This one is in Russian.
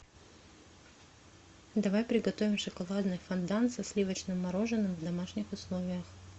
давай приготовим шоколадный фондан со сливочным мороженым в домашних условиях